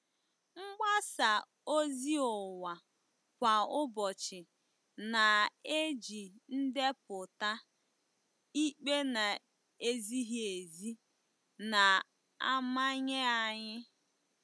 Mgbasa ozi ụwa kwa ụbọchị na-eji ndepụta ikpe na-ezighị ezi na-amanye anyị.